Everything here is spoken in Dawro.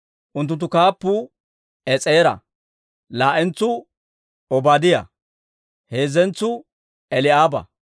Unttunttu kaappuu Es'eera; laa"entsuu Obaadiyaa; heezzentsuu Eli'aaba;